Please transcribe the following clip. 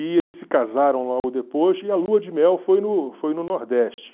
E eles se casaram logo depois, e a lua de mel foi no foi no Nordeste.